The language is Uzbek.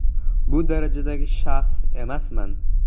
Bu darajadagi shaxs emasman.